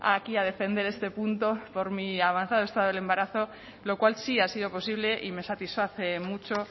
aquí a defender este punto por mí avanzado estado del embarazo lo cual sí ha sido posible y me satisface mucho